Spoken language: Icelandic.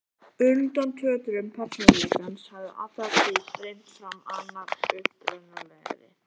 Undan tötrum persónuleikans hafði alla tíð streymt fram annar upprunalegri